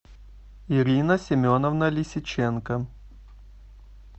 ирина семеновна лисиченко